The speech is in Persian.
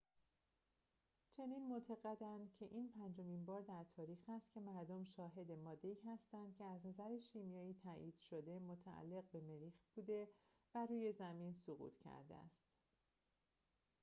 چنین معتقدند که این پنجمین بار در تاریخ است که مردم شاهد ماده‌ای هستند که از نظر شیمیایی تایید شده متعلق به مریخ بوده و روی زمین سقوط کرده است